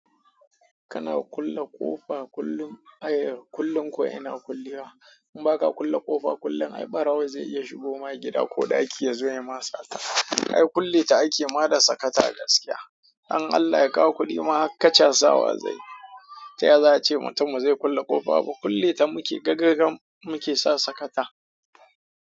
Kana kulle ƙofa kullum, ai kullum ko ina kulewa. In ba ka kulle ƙofa kullum ai ɓarawo zai iya shigoma gida ko ɗaki ya zo ya yi ma sata. Ai kulle ta ake ma da sakata gaskiya. Don Allah ya kawo kudima har kacha sawa zanyi. Ta yaya za a ce mutum bazai kulle ƙofa ba? Kulleta muke, gaga gam muke sa sakata.